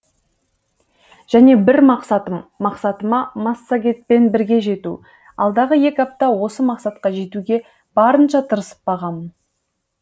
және бір мақсатым мақсатыма массагетпен бірге жету алдағы екі айда осы мақсатқа жетуге барынша тырысып бағамын